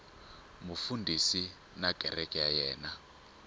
mufundhisi na kereke ya yena